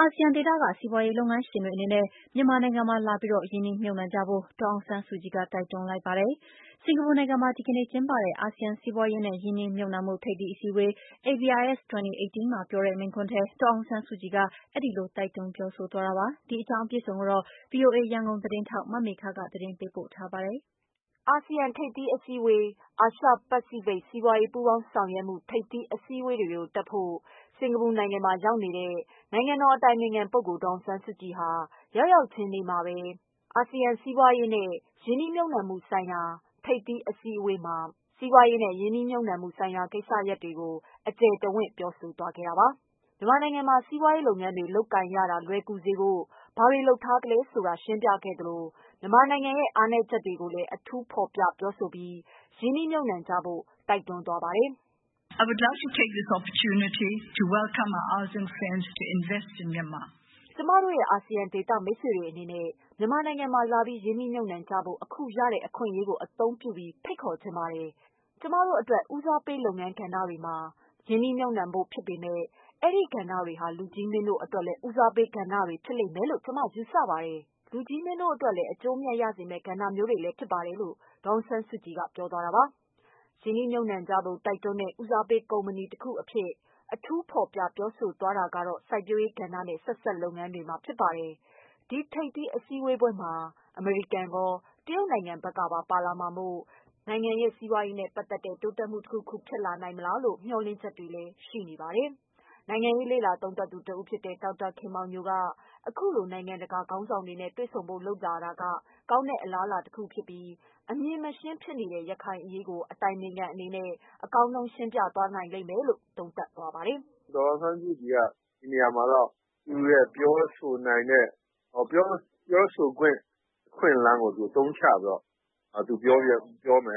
အာဆီယံဒေသက စီးပွားရေးလုပ်ငန်းရှင်တွေအနေနဲ့ မြန်မာနိုင်ငံမှာလာပြီး ရင်းနှီးမြှုပ်နှံကြဖို့ ဒေါ်အောင်ဆန်းစုကြည်က တိုက်တွန်းလိုက်ပါတယ်။ စင်္ကာပူနိုင်ငံမှာ တနင်္လာနေ့ကကျင်းပတဲ့ အာဆီယံ စီးပွားရေးနဲ့ ရင်းနှီးမြှုပ်နှံမှု ထိပ်သီးအစည်းအဝေး မှာ ပြောတဲ့မိန့်ခွန်းထဲ ဒေါ်အောင်ဆန်းစုကြည်က အဲဒီလို တိုက်တွန်းပြောဆိုသွားတာပါ။ ဒီအကြောင်း ဗွီအိုအေရန်ကုန်သတင်းထောက် မမေခက သတင်းပေးပို့ထားပါတယ်။ အာဆီယံထိပ်သီးအစည်းအဝေး၊ အာရှ-ပစိဖိတ် စီးပွားရေးပူးပေါင်းဆောင်ရွက်မှု ထိပ်သီး အစည်းအဝေးတွေတက်ဖို့ စင်္ကာပူနိုင်ငံမှာရောက်နေတဲ့ နိုင်ငံတော်အတိုင်ပင်ခံပုဂ္ဂိုလ် ဒေါ်အောင်ဆန်းစုကြည်ဟာ ရောက်ရောက်ချင်းနေ့မှာပဲ ABIS 2018 အစည်းအဝေးမှာ စီးပွားရေးနဲ့ ရင်းနှီးမြှုပ်နှံမှုဆိုင်ရာတွေကို အကျယ်တဝံ့ပြောဆိုသွားတာပါ။ မြန်မာနိုင်ငံမှာ စီးပွားရေးလုပ်ငန်းတွေ လုပ်ကိုင်ရတာ လွယ်ကူစေဖို့ ဘာတွေ လုပ်ထားတယ်ဆိုတာ ရှင်းပြသလို မြန်မာနိုင်ငံရဲ့ အားသာချက်တွေကိုလည်း အထူး ဖော်ပြပြောဆိုပြီး ရင်းနှီးမြှုပ်နှံကြဖို့ တိုက်တွန်းသွားတာဖြစ်ပါတယ်။ "ကျမတို့ရဲ့ အာဆီယံဒေသမိတ်ဆွေတွေအနေနဲ့ မြန်မာနိုင်ငံမှာလာပြီး ရင်းနှီးမြှုပ်နှံကြဖို့ အခုရတဲ့အခွင့်အရေးကို အသုံးပြုပြီး ဖိတ်ခေါ်ချင်ပါတယ်။ ကျမတို့အတွက် ဦးစားပေးလုပ်ငန်းကဏ္ဍတွေမှာ ရင်းနှီးမြှုပ်နှံဖို့ဖြစ်ပေမယ့် အဲဒီကဏ္ဍတွေဟာ လူကြီးမင်းတို့အတွက်လည်း ဦးစားပေးကဏ္ဍတွေဖြစ်မယ်လို့ ကျမယူဆပါတယ်။ လူကြီးမင်းတို့အတွက်လည်း အကျိုးအမြတ်ရစေမယ့် ကဏ္ဍမျိုးတွေဖြစ်ပါတယ်။" လို့ ဒေါ်အောင်ဆန်းစုကြည်က ပြောသွားတာပါ။ ရင်းနှီးမြှုပ်နှံကြဖို့ တိုက်တွန်းတဲ့ ဦးစားပေးကဏ္ဍတခုအဖြစ် အထူးဖော်ပြပြောဆိုသွားတာကတော့ စိုက်ပျိုးရေးကဏ္ဍနဲ့ ဆက်စပ်လုပ်ငန်းတွေဖြစ်ပါတယ်။ ဒီထိပ်သီး အစည်းအဝေးပွဲမှာ အမေရိကန်ကော၊ တရုတ်နိုင်ငံဘက်ကပါလာရောက်မှာမို့ ဒီမှာ နိုင်ငံစီးပွားရေးနဲ့ပတ်သတ်တဲ့ တိုးတက်မှုတခုခုကို ဖြစ်လာနိုင်မလားလို့ မေ ျှာ်လင့်မှုတွေလည်းရှိပါတယ်။ နိုင်ငံရေးလေ့လာသုံးသပ်သူ ဒေါက်တာ ခင်မောင်ညို က အခုလို နိုင်ငံတကာခေါင်းဆောင်တွေနဲ့ တွေ့ဆုံဖို့လုပ်ဆောင်လာတာက ကောင်းတဲ့ အလားအလာတခုဖြစ်ပြီး အမြင်မရှင်းဖြစ်နေတဲ့ ရခိုင်အရေးကို အတိုင်ပင်ခံအနေနဲ့ ရှင်းပြနိုင်လိမ့်မယ်လို့ သုံးသပ်ပါတယ် "ဒီနေရာမှာတော့ သူ့ရဲ့ပြောဆိုနိုင်တဲ့ စွမ်းရည်နဲ့ ပြောဆိုနိုင်တဲ့ အခွင့်အလမ်းကို သုံးပြီး နိုင်ငံတကာကို မြန်